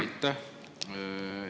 Aitäh!